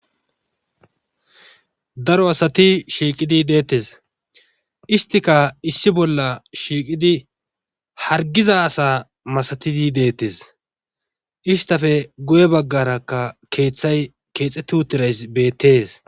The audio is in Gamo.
Daro asati shiiqidi deettes istika issi bolla shiiqidi harggiza asa masatidi deetes istape guye baggarakka keethay keexetti uthidaysi beetes.